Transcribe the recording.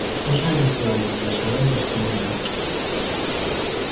всё же они сделали для джералда что могли